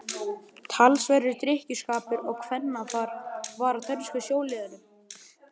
Talsverður drykkjuskapur og kvennafar var á dönsku sjóliðunum.